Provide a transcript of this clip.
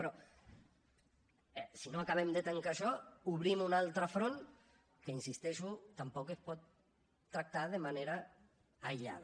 però si no acabem de tancar això obrim un altre front que hi insisteixo tampoc es pot tractar de manera aïllada